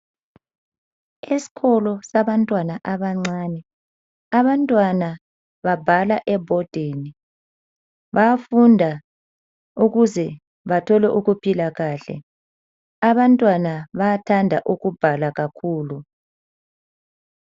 Esikolo sabantwana abancane abantwana babhala ebhodini bayafunda ukuze bathole ukuphila kahle. Abantwana bathande ukubhala kakhulu.